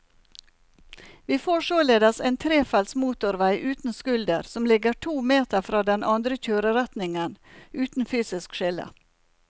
Vi får således en trefelts motorvei uten skulder som ligger to meter fra den andre kjøreretningen, uten fysisk skille.